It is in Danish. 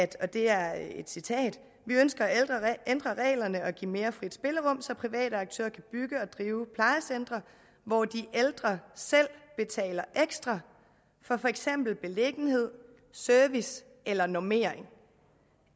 det er et citat vi ønsker at ændre reglerne og give mere frit spillerum så private aktører kan bygge og drive plejecentre hvor de ældre selv betaler ekstra for for eksempel beliggenhed service eller normering